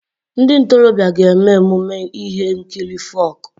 Ndị ntorobịa ga-eme emume ihe nkiri folk.